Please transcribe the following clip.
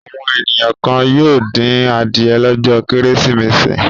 Àwọn ènìyàn kan yóò dín adìẹ lọ́jọ́ Kérésìmesì.